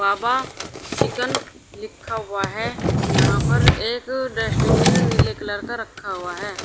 तवा chicken लिखा हुआ है यहां पर एक डस्टबिन नीले कलर का रखा हुआ है।